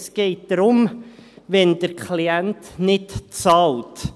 – Es geht darum, wenn der Klient nicht bezahlt.